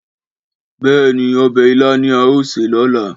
Béè ni, obè ilá ni a óò sè lóla